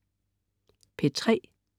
P3: